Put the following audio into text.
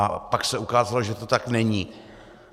A pak se ukázalo, že to tak není.